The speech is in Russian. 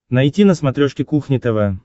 найти на смотрешке кухня тв